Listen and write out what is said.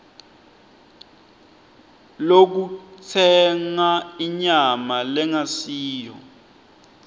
yekutsenga inyama lengasiyo